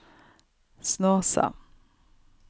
Snåsa